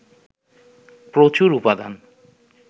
প্রচুর উপাদান